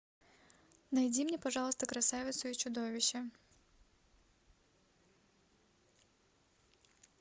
найди мне пожалуйста красавицу и чудовище